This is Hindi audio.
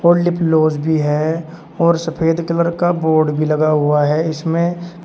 और लिप्लोज भी है और सफेद कलर का बोर्ड भी लगा हुआ है इसमें--